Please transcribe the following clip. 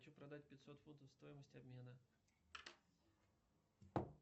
хочу продать пятьсот фунтов стоимость обмена